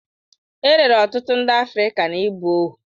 E rere ọtụtụ ndị Afrịka n'ịbụ ohu.